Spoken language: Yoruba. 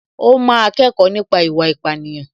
Ó máa kẹ́kọ̀ọ́ nípa ìwà ìpánìyàn